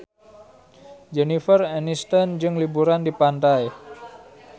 Jennifer Aniston keur liburan di pantai